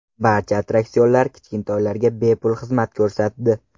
Barcha attraksionlar kichkintoylarga bepul xizmat ko‘rsatdi.